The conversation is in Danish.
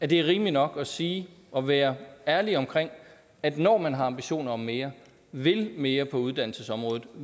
det er rimeligt nok at sige og være ærlige om at når man har ambitioner om mere vil mere på uddannelsesområdet